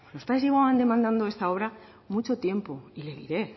oiga los padres llevaban demandando esta obra mucho tiempo y le diré